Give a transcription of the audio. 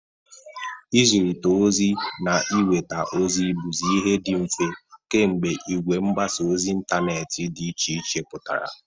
Ị zịrịta ozi na inweta ozi bụzị ihe dị mfe kemgbe igwe mgbasa ozi intaneeti dị iche iche pụtara.